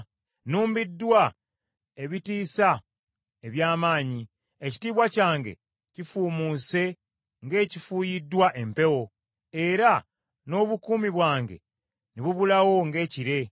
Nnumbiddwa ebitiisa eby’amaanyi; ekitiibwa kyange kifuumuuse ng’ekifuuyiddwa empewo, era n’obukuumi bwange ne bubulawo ng’ekire.”